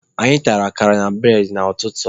Anyị tara akara na bụredị n'ụtụtụ tata